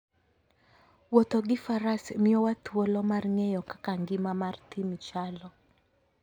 Wuotho gi Faras miyowa thuolo mar ng'eyo kaka ngima mar thim chalo.